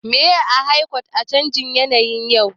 Me aka hakaito a canjin yanayin yau?